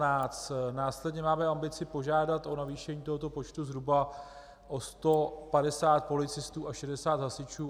Následně máme ambici požádat o navýšení tohoto počtu zhruba o 150 policistů a 60 hasičů.